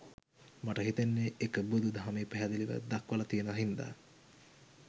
මට හිතෙන්නේ එක බුදු දහමේ පැහැදිලිව දක්වල තියෙන හින්ද.